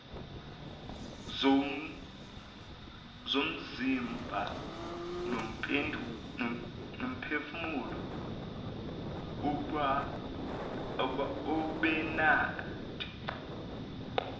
zomzimba nomphefumulo ubenade